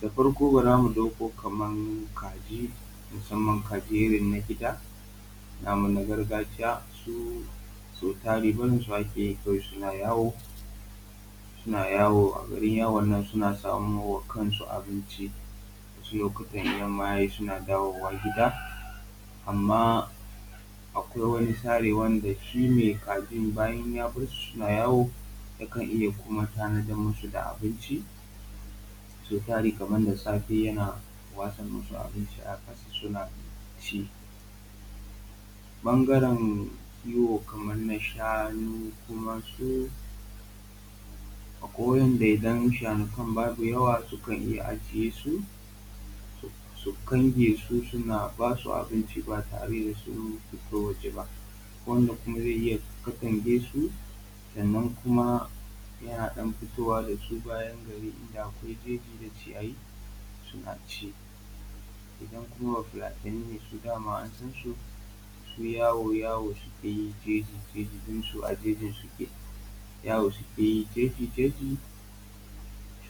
Da farko bara mu ɗauko kaman kaji, mussaman kaji irin na gida namu na gargajiya, su so tari barinsu ma kawai ake yi su na yawo, suna yawo a garin yawon nan suna samowa kansu abinci, wasu lokutan idan yamma yayi suna dawowa gida. Amma akwai wani sare wanda shi me kajin bayan ya barsu suna yawo, ya kan iya kuma tanadar musu da abinci, so tari kamar da safe yana watsa musu abinci a ƙasa suna ci. Ɓangaran kiwo kaman na shanu kuma su [?[ akwai wa'inda idan shanukan babu yawa sukan iya ajiye su, su su kange su suna basu abinci ba tare da sun fito waje ba. Akwai wanda kuma zai iya ya katange su, sannan kuma yana ɗan fitowa da su bayan gari inda akwai jeji da ciyayi suna ci. Idan kuma bafulatani ne su, dama an san su, su yawo-yawo suke yi jeji-jeji, don su a jeji suke, yawo suke yi jeji-jeji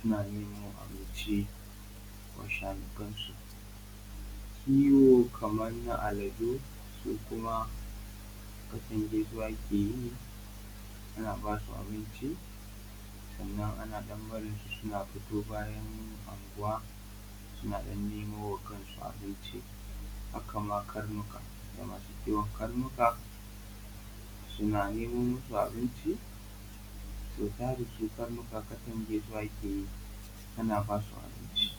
suna nemo abunci wa shanukan su. Kiwo kamar na aladu su kuma katange su ake yi, ana ba su abinci, sannan ana ɗan barin su suna fito bayan anguwa, suna ɗan nemo wa kansu abunci. Haka ma karnuka, ga masu kiwon karnuka suna nemo musu abinci, sau tari su karnuka katange su ake yi ana ba su abunci.